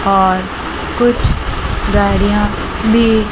और कुछ गाड़ियां भी--